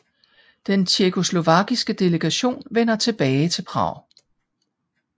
Den tjekkoslovakiske delegation vender tilbage til Prag